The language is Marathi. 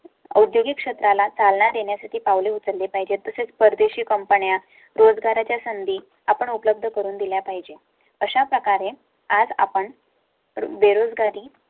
औद्योगिक क्षेत्राला चालना देण्यासाठी पावले उचलली पाहिजेत. तसेच परदेशी कंपन्या रोजगारा च्या संधी आपण उपलब्ध करून दिल्या पाहिजे. अशाप्रकारे आज आपण बेरोजगारी